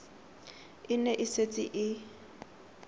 e ne e setse e